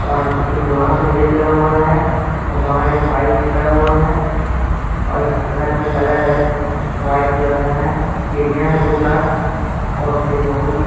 और एक लोहा का गेट लगा हुआ है और बाहर एक बाइक भी खड़ा हुआ है और इस घर का कलर है व्हाइट कलर का है। सीढ़ियां हैं दो चार और फिर बोहत ही --